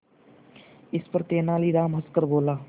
इस पर तेनालीराम हंसकर बोला